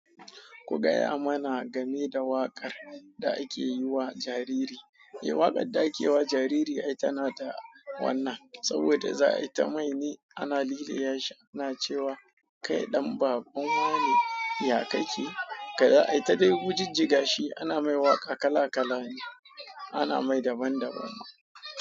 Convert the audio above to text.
Ku gaya mana game da waƙar da ake yi wa jariri. Eh, waƙar da ake yi wa jariri ai tana da wanna saboda za ayi ta maine. Ana lile yashi ana cewa kai ɗan baban wa ne, ya ka ke? Aaita dai wujijjiga shi ana mai waka kala kala an mai daban daban.